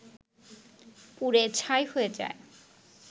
পুড়ে ছাই হয়ে যায়